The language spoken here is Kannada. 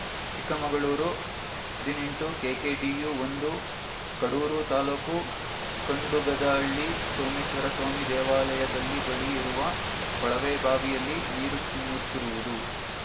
ಚಿಕ್ಕಮಗಳೂರು ಹದಿನೆಂಟು ಕೆಕೆಡಿಯು ಒಂದು ಕಡೂರು ತಾಲೂಕು ಖಂಡುಗದಹಳ್ಳಿ ಸೋಮೇಶ್ವರ ಸ್ವಾಮಿ ದೇವಾಲಯದಲ್ಲಿ ಬಳಿ ಇರುವ ಕೊಳವೆಬಾವಿಯಲ್ಲಿ ನೀರು ಚಿಮ್ಮುತ್ತಿರುವುದು